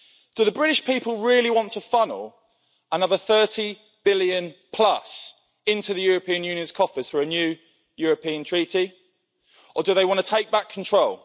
Do the British people really want to funnel another 30 billion plus into the European Union's coffers for a new European treaty or do they want to take back control?